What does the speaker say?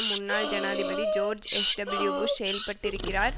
முன்னாள் ஜனாதிபதி George H W Bush செயல்பட்டிருக்கிறார்